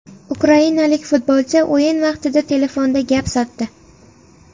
Ukrainalik futbolchi o‘yin vaqtida telefonda gap sotdi.